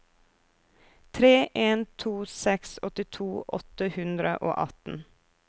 tre en to seks åttito åtte hundre og atten